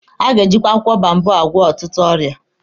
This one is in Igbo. A ga-ejipu akwụkwọ boababụ agwọ ọtụtụ ọrịa.